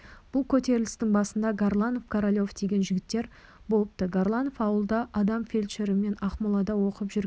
бұл көтерілістің басында горланов королев деген жігіттер болыпты горланов ауылда адам фельдшері мен ақмолада оқып жүрген